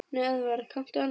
Nei Eðvarð, kanntu annan?